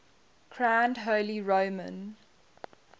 crowned holy roman